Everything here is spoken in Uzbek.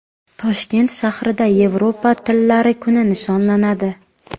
Toshkent shahrida Yevropa tillari kuni nishonlanadi.